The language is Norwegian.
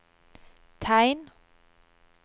tegn